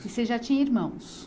E você já tinha irmãos?